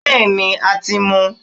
bẹẹni,a tí mú